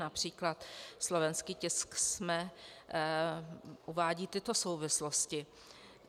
Například slovenský tisk SME uvádí tyto souvislosti.